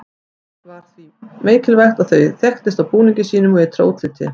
það var því mikilvægt að það þekktist á búningi sínum og ytra útliti